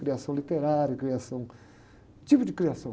Criação literária, criação... Tipos de criação.